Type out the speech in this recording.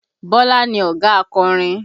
Bọlá ni ọ̀gá akọrin